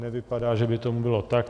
Nevypadá, že by tomu bylo tak.